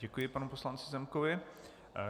Děkuji panu poslanci Zemkovi.